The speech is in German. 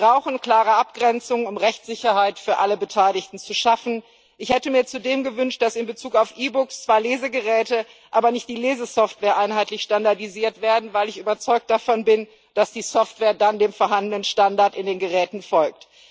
Wir brauchen klare Abgrenzungen, um Rechtssicherheit für alle Beteiligten zu schaffen. Ich hätte mir zudem gewünscht, dass in Bezug auf E Books zwar Lesegeräte, aber nicht die Lesesoftware einheitlich standardisiert werden, weil ich überzeugt davon bin, dass die Software dann dem vorhandenen Standard in den Geräten folgt.